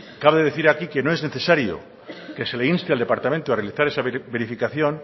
cabe decir aquí que no es necesario que se le inste al departamento a realizar esa verificación